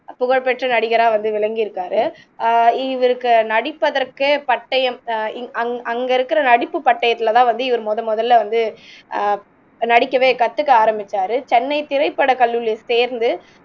புகழ் பெற்ற நடிகரா வந்து விளங்கிருக்காரு ஆஹ் இவருக்கு நடிப்பதற்கே பட்டயம் அ அ அங்க இருக்குற நடிப்பு பட்டயத்துல தான் வந்து இவரு முதன்முதல்ல வந்து ஆஹ் நடிக்கவே கத்துக்க ஆரமிச்சாரு சென்னை திரைப்படக்கல்லூரியில சேர்ந்து